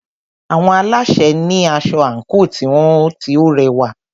Àwọn alásè ní asọ àńkò tiwọn tí o rẹwà.